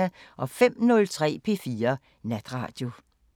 05:03: P4 Natradio